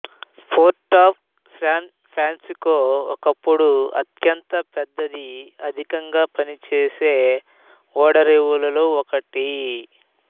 port of San Francisco ఒకప్పుడు అత్యంత పెద్దది అధికంగా పనిచేసే ఓడరేవులలో ఒకటి